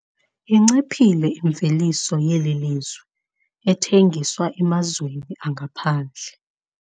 Inciphile imveliso yeli lizwe ethengiswa emazweni angaphandle.